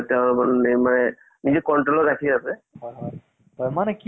উম। এনে bollywood ৰ movie তোমাক ক কোন কেইটা চাই ভাল লাগে? bollywood এতিয়ালৈকে movies ?